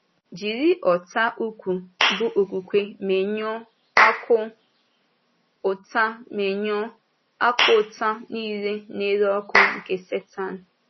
Jiri ọ̀tá ukwu bụ́ okwúkwè menyụọ “akụ́ ụtá menyụọ “akụ́ ụtá niile na-ere ọkụ” nke Sẹ́tán.